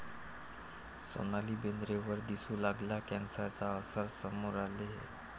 सोनाली बेंद्रेवर दिसू लागला कॅन्सरचा असर, समोर आले हे